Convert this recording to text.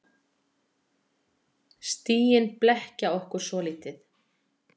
Stigin blekkja okkur svolítið.